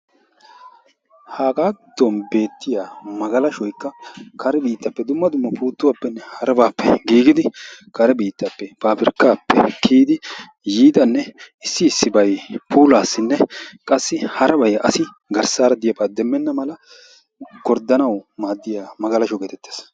Haga giddon beettiya magalashshoykka kare biittappe dumma dumma puuttuwappene harappe giigidi kare biittappe pabirkkappe kiyidi yiidanne issi issibay puulassinne qassi harabay asi garssara de'iyaaba demmena mala gorddanaw maaddiyaa magalashsho getettees.